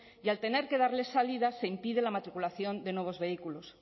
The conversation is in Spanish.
y al tener que darle salida se impide la matriculación de nuevos vehículos